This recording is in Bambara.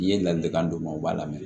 N'i ye ladilikan d'u ma u b'a lamɛn